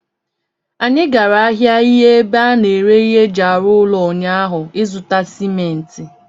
Anyị gara ahịa ihe ebe a na-ere ihe eji arụ ụlọ ụnyaahụ ịzụta simenti